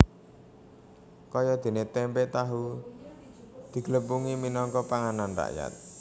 Kayadéné témpé tahu diglepungi minangka panganan rakyat